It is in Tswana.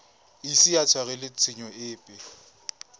ise a tshwarelwe tshenyo epe